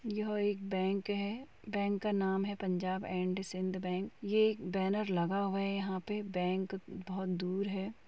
यह एक बैंक है। बैंक का नाम है पंजाब एंड सिंध बैंक । एक बैनर लगा हुआ है यहाँ पे बैंक बोहोत दूर है।